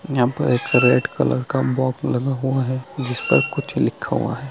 यहाँ पर एक रेड कलर का बॉक्स लगा हुआ है जिस पर कुछ लिखा हुआ है |